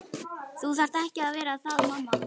Þú þarft ekki að vera það mamma.